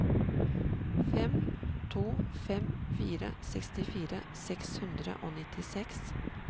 fem to fem fire sekstifire seks hundre og nittiseks